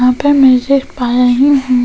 यहाँ पे मैसेज पाया ही है --